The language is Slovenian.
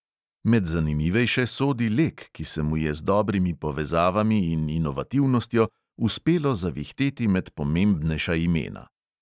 Med zanimivejše sodi lek, ki se mu je z dobrimi povezavami in inovativnostjo uspelo zavihteti med pomembnejša imena.